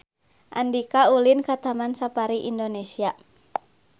Andika ulin ka Taman Safari Indonesia